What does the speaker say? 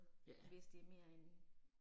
Ja